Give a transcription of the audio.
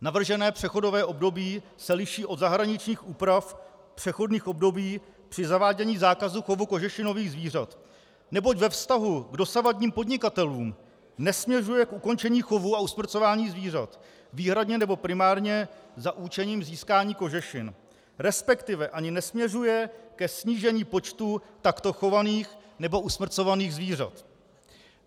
Navržené přechodové období se liší od zahraničních úprav přechodných období při zavádění zákazu chovu kožešinových zvířat, neboť ve vztahu k dosavadním podnikatelům nesměřuje k ukončení chovu a usmrcování zvířat výhradně nebo primárně za účelem získání kožešin, respektive ani nesměřuje ke snížení počtu takto chovaných nebo usmrcovaných zvířat.